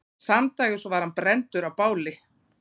Samdægurs var hann brenndur á báli.